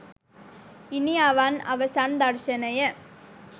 ඉනිඅවන් අවසන් දර්ශනය